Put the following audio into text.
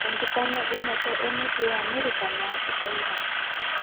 Enkinyangunoto e noti e Marekani nasita Iran.